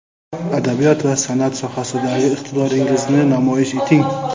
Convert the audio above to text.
adabiyot va sanʼat sohasidagi iqtidoringizni namoyish eting!.